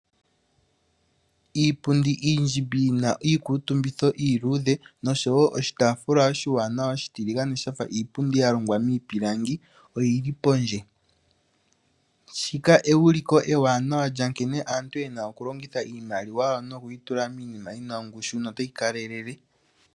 Iipundi iindjimbi yi na iikutumbitho iiluudhe noshowo oshitaafula oshiwanawa oshitiligane sha fa iipundi ya longwa miipilangi oyi li pondje. Shika euliko ewanawa lya nkene aantu ye na okulongitha iimaliwa yawo nokuyi tula miinima yi na ongushu notayi kalelele.